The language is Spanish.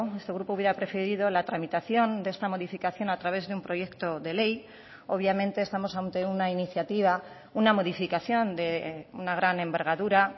este grupo hubiera preferido la tramitación de esta modificación a través de un proyecto de ley obviamente estamos ante una iniciativa una modificación de una gran envergadura